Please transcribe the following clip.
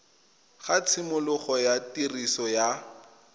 ga tshimologo ya tiriso ya